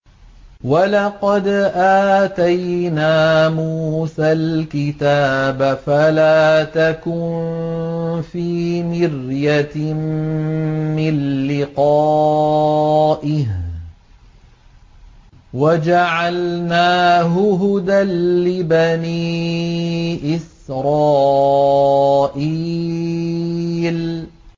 وَلَقَدْ آتَيْنَا مُوسَى الْكِتَابَ فَلَا تَكُن فِي مِرْيَةٍ مِّن لِّقَائِهِ ۖ وَجَعَلْنَاهُ هُدًى لِّبَنِي إِسْرَائِيلَ